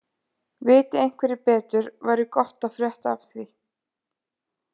Viti einhverjir betur væri gott að frétta af því.